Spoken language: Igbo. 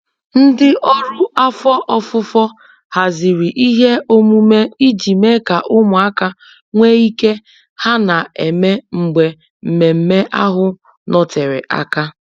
Ndị ọrụ afọ ofufo haziri ihe omume iji mee ka ụmụaka nwe ike ha na-eme mgbe mmemmé ahụ nọtere aka.